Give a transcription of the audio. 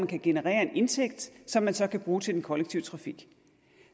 kan generere en indtægt som de så kan bruge til den kollektive trafik